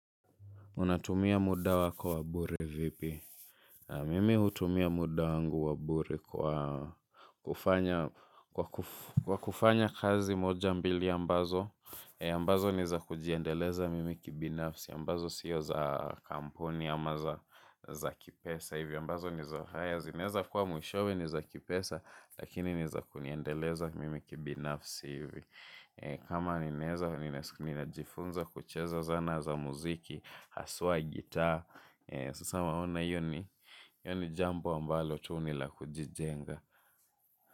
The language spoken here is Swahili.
Unatumia muda wako wa bure vipi? Mimi hutumia muda wangu wa bure kwa kufanya kazi moja mbili ambazo. Ambazo ni za kujiendeleza mimi kibinafsi. Ambazo sio za kampuni ama za kipesa hivi. Ambazo ni za haya zinaweza kua mwishowe ni za kipesa lakini ni za kuniendeleza mimi kibinafsi hivi. Kama ninaweza, ninajifunza kucheza zana za muziki. Haswa gitar sasa unaona hiyo ni hiyo ni jambo ambalo tu ni la kujijenga.